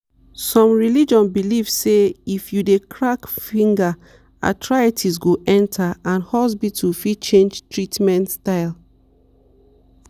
some religious belief say if you dey crack finger arthritis go enter and hospital fit change treatment style.